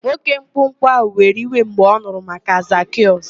Nwoke mkpụmkpụ ahụ were iwe mgbe ọ nụrụ maka Zakịọs.